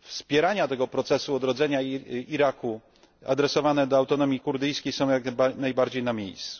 wspierania tego procesu odrodzenia Iraku, adresowane do Autonomii Kurdyjskiej, są jak najbardziej na miejscu.